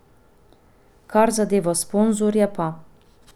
Kar zadeva sponzorje pa ...